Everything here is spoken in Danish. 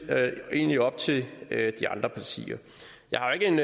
egentlig op til de andre partier jeg har ikke en